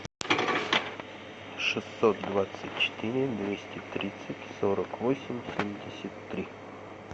шестьсот двадцать четыре двести тридцать сорок восемь семьдесят три